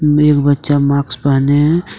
मे एक बच्चा माक्स पहने है।